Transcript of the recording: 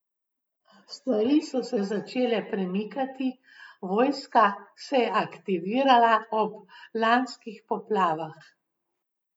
Stvari so se začele premikati, vojska se je aktivirala ob lanskih poplavah.